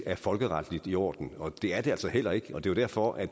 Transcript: er folkeretligt i orden det er det altså heller ikke og det var derfor at